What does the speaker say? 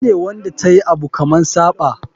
Ita ne Wanda tayi Abu kaman Saba.